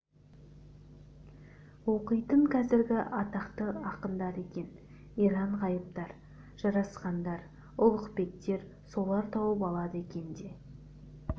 оқитын қазіргі атақты ақындар екен иран ғайыптар жарасхандар ұлықбектер солар тауып алады екен де